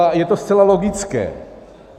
A je to zcela logické.